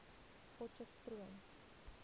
potcheftsroom